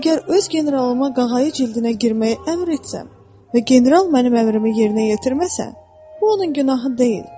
Əgər öz generalıma qağayı cildinə girməyi əmr etsəm və general mənim əmrimi yerinə yetirməsə, bu onun günahı deyil.